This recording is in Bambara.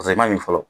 Paseke i man ɲi fɔlɔ